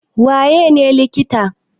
Waye ne likita?